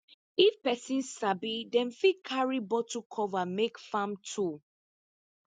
if pesin sabi dem fit carry bottle cover make farm tool